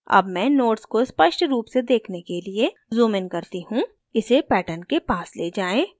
अब मैं nodes को स्पष्ट रूप से देखने के लिए zoom इन करती move इसे pattern के पास let जाएँ